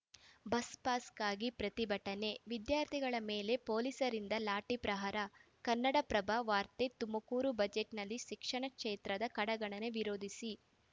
ಬಸ್‌ಪಾಸ್‌ಗಾಗಿ ಪ್ರತಿಭಟನೆ ವಿದ್ಯಾರ್ಥಿಗಳ ಮೇಲೆ ಪೊಲೀಸರಿಂದ ಲಾಠಿ ಪ್ರಹಾರ ಕನ್ನಡಪ್ರಭ ವಾರ್ತೆ ತುಮಕೂರು ಬಜೆಟ್‌ನಲ್ಲಿ ಶಿಕ್ಷಣ ಕ್ಷೇತ್ರದ ಕಡೆಗಣನೆ ವಿರೋಧಿಸಿ